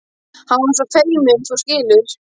Hann er svo feiminn, þú skilur.